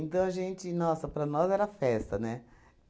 Então a gente, nossa, para nós era festa, né?